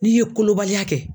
N'i ye kolobaliya kɛ